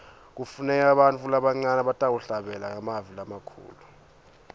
kufuneka bantfu labancane labatawuhlabela ngemavi lamakhulu